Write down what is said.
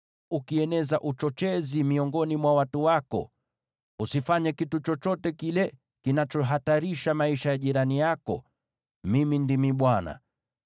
“ ‘Usieneze uchochezi miongoni mwa watu wako. “ ‘Usifanye kitu chochote kile kinachohatarisha maisha ya jirani yako. Mimi ndimi Bwana .